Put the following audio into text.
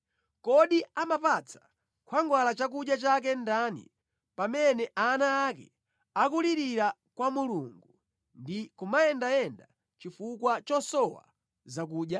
Kodi amamupatsa khwangwala chakudya chake ndani pamene ana ake akulirira kwa Mulungu ndi kumayendayenda chifukwa chosowa zakudya?